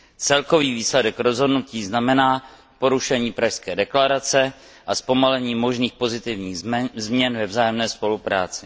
Celkový výsledek rozhodnutí znamená porušení Pražské deklarace a zpomalení možných pozitivních změn ve vzájemné spolupráci.